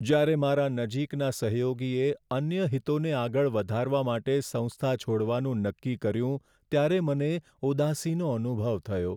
જ્યારે મારા નજીકના સહયોગીએ અન્ય હિતોને આગળ વધારવા માટે સંસ્થા છોડવાનું નક્કી કર્યું ત્યારે મને ઉદાસીનો અનુભવ થયો.